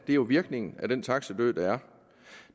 jo virkningen af den taxidød der er